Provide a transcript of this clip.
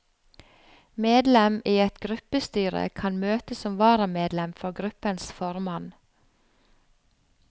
Medlem i et gruppestyre kan møte som varamedlem for gruppens formann.